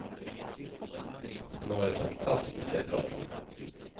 Hon har varit fantastisk att prata med.